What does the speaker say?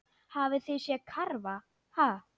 Hafið þið séð karfa, ha?